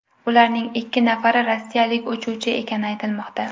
Ularning ikki nafari rossiyalik uchuvchi ekani aytilmoqda.